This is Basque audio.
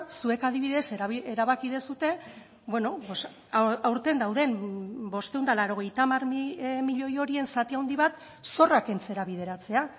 zuek adibidez erabaki duzue aurten dauden bostehun eta laurogeita hamar milioi horien zati handi bat zorra kentzera bideratzea